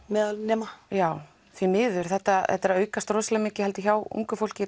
meðal nema já því miður þetta þetta er að aukast mikið hjá ungu fólki